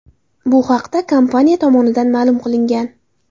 Bu haqda kompaniya tomonidan ma’lum qilingan.